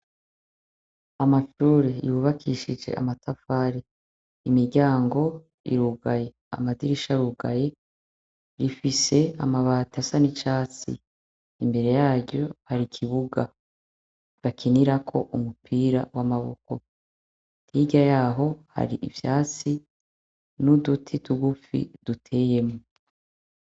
Amashure yubakishijwe amatafari, imiryango iruguye amadirisha aruguye, ifise amabati asa n'icatsi imbere yaryo har'ikibuga bakinirako umupira w'amaboko, hirya yaho har'ivyatsi n'uduti tugufi duteyemwo.